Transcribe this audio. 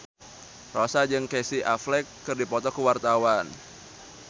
Rossa jeung Casey Affleck keur dipoto ku wartawan